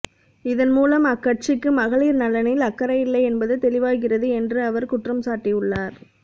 இதன்மூலம் அக்கட்சிக்கு மகளிா்நலனில் அக்கறையில்லை என்பது தெளிவாகிறது என்று அவா் குற்றம் சாட்டியுள்ளாா்